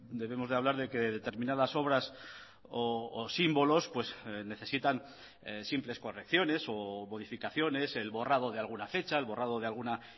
debemos de hablar de que determinadas obras o símbolos necesitan simples correcciones o modificaciones el borrado de alguna fecha el borrado de alguna